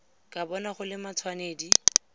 ka bona go le matshwenedi